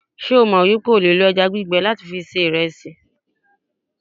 se o mo wipe o le lo eja gbigbe lati se iresi?